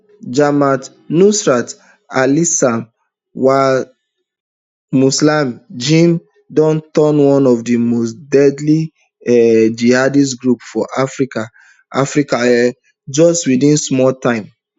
jamaat nusrat alislam walmuslimin jnim don turn one of di most deadly um jihadist groups for africa africa um just within small time